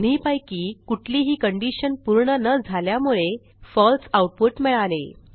दोन्हीपैकी कुठलीही कंडिशन पूर्ण न झाल्यामुळे फळसे आऊटपुट मिळाले